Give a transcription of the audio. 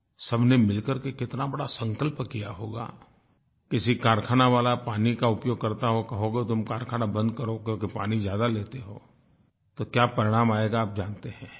सबने मिल करके कितना बड़ा संकल्प किया होगा किसी कारख़ाना वाला पानी का उपयोग करता हो कहोगे तुम कारख़ाना बंद करो क्योंकि पानी ज्यादा लेते हो तो क्या परिणाम आएगा आप जानते हैं